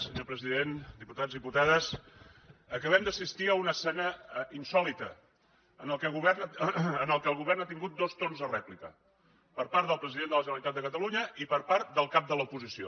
senyor president diputats diputades acabem d’assistir a una escena insòlita en què el govern ha tingut dos torns de rèplica per part del president de la generalitat de catalunya i per part del cap de l’oposició